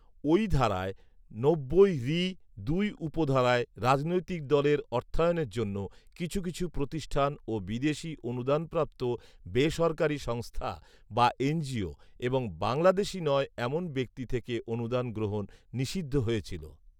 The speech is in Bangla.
ওই ধারায় নব্বই ঋ দুই উপধারায় রাজনৈতিক দলের অর্থায়নের জন্য কিছু কিছু প্রতিষ্ঠান ও বিদেশি অনুদানপ্রাপ্ত বেসরকারি সংস্থা বা এনজিও এবং বাংলাদেশি নয় এমন ব্যক্তি থেকে অনুদান গ্রহণ নিষিদ্ধ হয়েছিল